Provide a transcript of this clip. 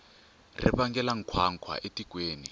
ri vangela nkhwankhwa etikweni